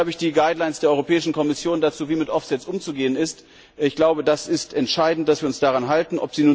Hier habe ich die Leitlinien der Europäischen Kommission dazu, wie mit Offsets umzugehen ist. Es ist entscheidend, dass wir uns daran halten.